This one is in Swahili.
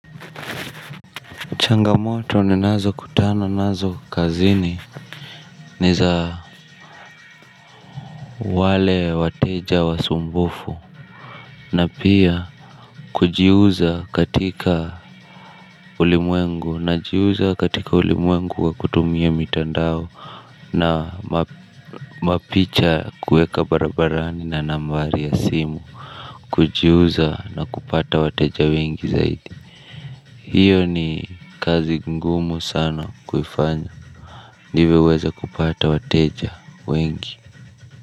Changamoto ninazo kutana nazo kazini ni za wale wateja wasumbufu na pia kujiuza katika ulimwengu na jiuza katika ulimwengu kwa kutumia mitandao na mapicha kuweka barabarani na nambari ya simu. Kujiuza na kupata wateja wengi zaidi hiyo ni kazi ngumu sana kuifanya. Ndivyo uweze kupata wateja wengi.